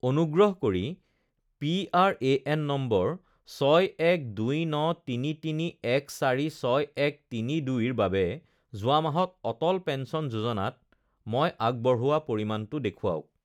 অনুগ্ৰহ কৰি P R A N number ছয় এক দুই ন তিনি তিনি এক চাৰি ছয় এক তিনি দুইৰ বাবে যোৱা মাহত অটল পেঞ্চন যোজনাত মই আগবঢ়োৱা পৰিমাণটো দেখুৱাওক